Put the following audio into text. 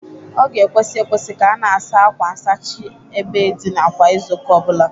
Ọ ga-ekwesi ekwesi ka a na-asa akwa nsachị ebe ndịna kwa Izuụka ọ bụla